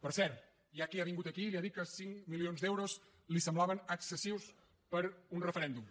per cert hi ha qui ha vingut aquí i li ha dit que cinc milions d’euros li semblaven excessius per a un referèndum